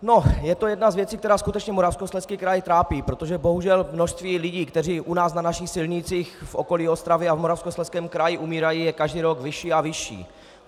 No, je to jedna z věcí, která skutečně Moravskoslezský kraj trápí, protože bohužel množství lidí, kteří u nás na našich silnicích v okolí Ostravy a v Moravskoslezském kraji umírají, je každý rok vyšší a vyšší.